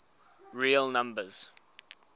real numbers